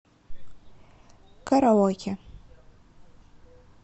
караоке